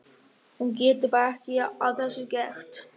Hún getur bara ekki að þessu gert.